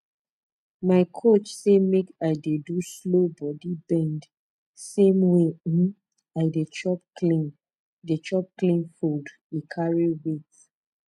my coach say make i dey do slow body bend same way um i dey chop clean dey chop clean food e carry weight